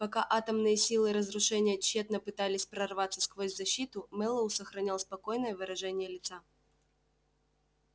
пока атомные силы разрушения тщетно пытались прорваться сквозь защиту мэллоу сохранял спокойное выражение лица